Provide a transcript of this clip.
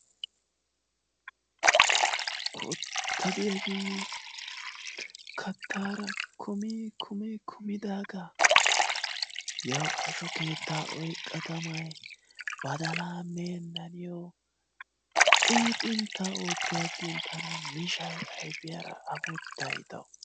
Kootta diyaagee kattaara kumi kumi kumidaagaa yawu asho keettaa oyqqa tamay badalaa meena niyo xiixxinta ootti agin tana mishshay ayfiyaara affuttay tawu.